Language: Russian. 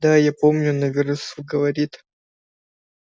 да я помню но вересов говорит